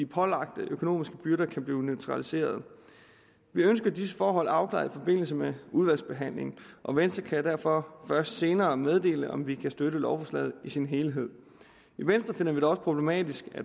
pålagte økonomiske byrder kan blive neutraliseret vi ønsker disse forhold afklaret i forbindelse med udvalgsbehandlingen og venstre kan derfor først senere meddele om vi kan støtte lovforslaget i sin helhed i venstre finder vi det også problematisk